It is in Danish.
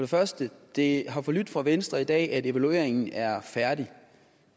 første det har forlydt fra venstre i dag at evalueringen er færdig